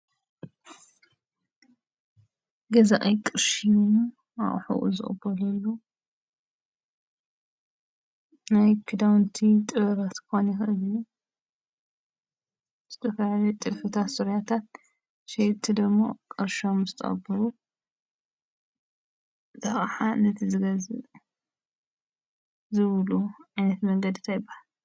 ገዛኢ ቅርሹ ሂቡ ኣቅሑ ዝቅበለሉ ናይ ክዳውንቲ ጥበባት ክኸውን ይኽእል እዩ ።ዝተፈላለዩ ጥልፍታት ዙርያታት ሸየጥቲ ድሞ ቅርሾም ምስ ተቀበሉ እቲ ኣቅሓ ነቲ ዝገዝእ ዝህብሉ ዓይነት መንገዲ እንታይ ይበሃል?